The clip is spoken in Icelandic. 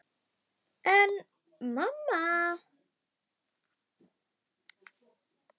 En mamma!